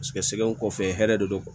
Paseke sɛgɛnko kɔfɛ hɛrɛ de don